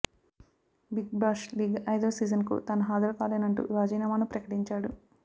big Bash League ఐదో సీజన్కు తాను హాజరుకాలేనంటూ రాజీనామాను ప్రకటించాడు